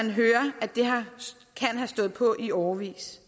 vi hører at det kan have stået på i årevis